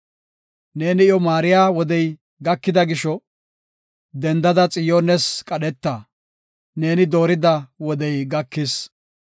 Neeni iyo maariya wodey gakida gisho; dendada Xiyoones qadheta; neeni doorida wodey gakis.